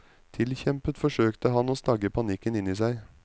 Tilkjempet forsøkte han å stagge panikken inni seg.